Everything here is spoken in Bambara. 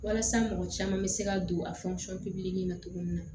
Walasa mɔgɔ caman bɛ se ka don a na cogo min na